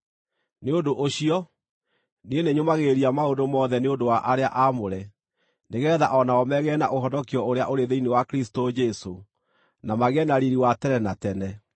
Nĩ ũndũ ũcio, niĩ nĩnyũmagĩrĩria maũndũ mothe nĩ ũndũ wa arĩa aamũre, nĩgeetha o nao megĩĩre na ũhonokio ũrĩa ũrĩ thĩinĩ wa Kristũ Jesũ, na magĩe na riiri wa tene na tene.